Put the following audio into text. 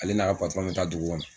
Ale n'a ka bɛ taa dugu kɔnɔ